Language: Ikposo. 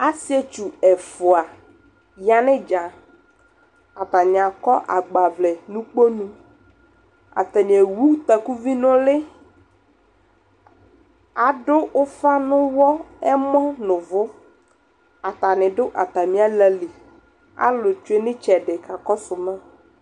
asii ɛtwʋ ɛƒʋa yanʋ itsa, atani akɔ agba vlɛ nʋ ikpɔnʋ, atani ɛwʋ takʋvi nʋ ʋli, adʋ ʋƒa nʋ ʋli ɛmɔ nʋ ʋvʋ atani dʋ atami alali, alʋ twɛnʋ itsɛdi kakɔsʋ ma